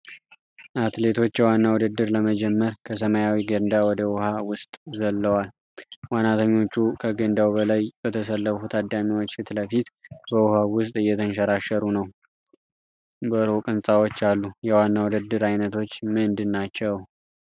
አትሌቶች የዋና ውድድር ለመጀመር ከሰማያዊ ገንዳ ወደ ውሃ ውስጥ ዘልለዋል። ዋናተኞቹ ከገንዳው በላይ በተሰለፉ ታዳሚዎች ፊት ለፊት በውሃው ውስጥ እየተንሸራሸሩ ነው። በሩቅ ህንፃዎች አሉ። የዋና ውድድር ዓይነቶች ምንድናቸው?